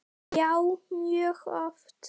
Já, mjög oft.